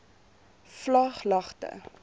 vlaaglagte